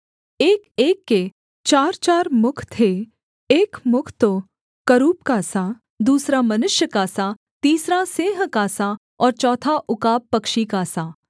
एकएक के चारचार मुख थे एक मुख तो करूब का सा दूसरा मनुष्य का सा तीसरा सिंह का सा और चौथा उकाब पक्षी का सा